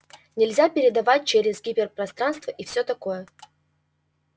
нельзя передавать через гиперпространство и всё такое